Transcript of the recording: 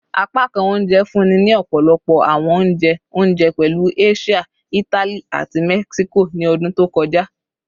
Apakan ounje funni ni ọpọlọpọ awọn ounjẹ ounjẹ, pẹlu Asia, Itali, ati Mexico ni ọdun to kọja